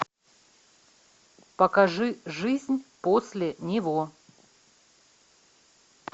покажи жизнь после него